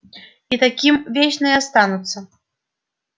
и таким вечно и останутся